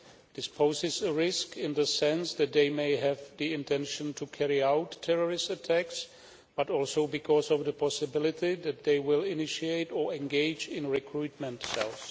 This poses a risk in the sense that they may have the intention to carry out terrorist attacks, but also because of the possibility that they will initiate or engage in recruitment cells.